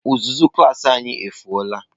Uzuzu klas anyị efụo la.